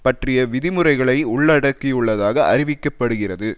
பற்றிய விதி முறைகளை உள்ளடக்கியுள்ளதாக அறிவிக்க படுகிறது